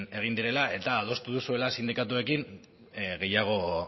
egin direla eta adostu duzuela sindikatuekin gehiago